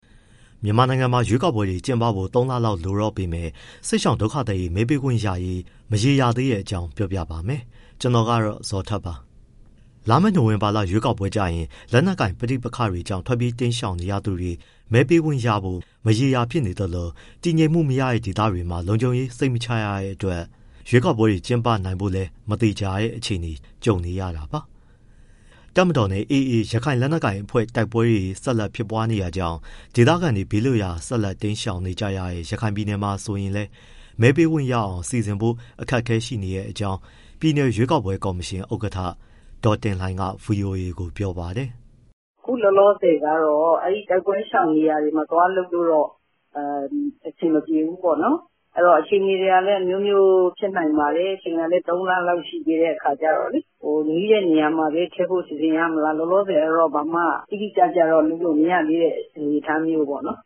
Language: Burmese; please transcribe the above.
မြန်မာနိုင်ငံမှာ ရွေးကောက်ပွဲတွေ ကျင်းပဖို့ ၃ လလောက်သာ လိုတော့ပေမဲ့ စစ်ရှောင်ဒုက္ခသည်တွေ မဲပေးခွင့်ရရေး မရေရာသေးတဲ့အကြောင်း ပြောပြပေးပါမယ်။ ဗွီအိုအေမြန်မာပိုင်း သတင်းထောက် ကိုဇော်ထက်က သတင်းပေးပို့ထားပါတယ်။ လာမယ့် နိုဝင်ဘာလ ရွေးကောက်ပွဲကျရင် လက်နက်ကိုင် ပဋိပက္ခတွေကြောင့် ထွက်ပြေးတိမ်းရှောင် နေရသူတွေ မဲပေးခွင့်ရဖို့ မရေမရာ ဖြစ်နေသလို၊ တည်ငြိမ်မှုမရတဲ့ ဒေသတွေမှာ လုံခြုံရေး စိတ်မချရတဲ့အတွက် ရွေးကောက်ပွဲတွေ ကျင်းပနိုင်ဖို့လည်း မသေချာတဲ့ အခြေအနေနဲ့ ကြုံနေရတာပါ။ တပ်မတော်နဲ့ AA ရခိုင်လက်နက်ကိုင် အဖွဲ့ကြား တိုက်ပွဲတွေ ဆက်လက် ဖြစ်ပွားနေတာကြောင့် ဒေသခံတွေ ဘေးလွတ်ရာ ဆက်လက်တိမ်းရှောင်နေကြရတဲ့ ရခိုင်ပြည်နယ်မှာ ဆိုရင်လည်း မဲပေးခွင့်ရအောင် စီစဉ်ဖို့ အခက်အခဲ ရှိနေတဲ့အကြောင်း ပြည်နယ် ရွေးကောက်ပွဲကော်မရှင်ဥက္ကဋ္ဌ ဒေါ်တင်လှိုင်က ဗွီအိုအေကို ပြောပါတယ်။ “အခုလောလောဆယ်ကတော့ အဲဒီတိုက်ပွဲရှောင်နေရာတွေမှာ သွားလုပ်လို့ အဆင်မပြေဘူးပေါ့နော်။ အဲဒီတော့ အခြေအနေတွေကလည်း အမျိုးမျိုးဖြစ်နိုင်ပါတယ်၊ သုံးလလောက်ရှိသေးတဲ့အခါကျတော့။ နီးတဲ့နေရာမှာပဲ ထည့်ဖို့ စီစဉ်ရမလား၊ လောလောဆယ်ကတော့ ဘာမှ တိတိကျကျတော့ လုပ်လို့ မရသေးတဲ့ အနေအထားမျိုးပေါ့နော်